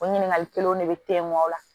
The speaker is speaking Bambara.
O ɲininkali kelenw ne be te mɔn o la